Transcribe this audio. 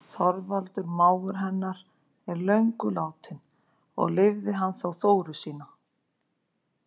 Þorvaldur mágur hennar er löngu látinn og lifði hann þó Þóru sína.